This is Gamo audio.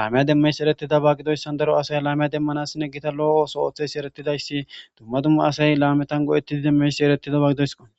laameya demmeys eretida ba gidoyssan daro asay laameya demmanassinne gita lo7ooso oothesi eretidayssi dumma dumma asay laametan go7ettidi demmeysi eretidaba gidoyso